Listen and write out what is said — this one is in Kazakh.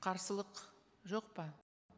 қарсылық жоқ па